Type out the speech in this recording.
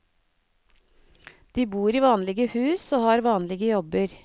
De bor i vanlige hus og har vanlige jobber.